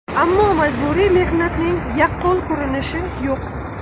Ammo majburiy mehnatning yaqqol ko‘rinishi yo‘q.